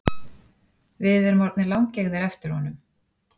Við erum orðnir langeygðir eftir honum